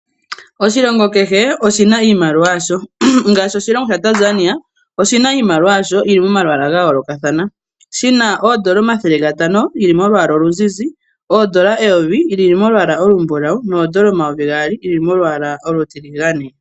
Oshilongo kehe oshina iimaliwa yasho ngashi oshilongo shaTanzania oshina iimaliwa yasho yili momalwaala gayoolokathana shina oondola omathele gatano geli molwalwa oluzizi, oondola eyovi lili molwaala olumbulawu noondola omayovi gaali luli molwaalwa olutiligane.